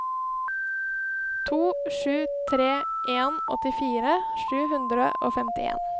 to sju tre en åttifire sju hundre og femtien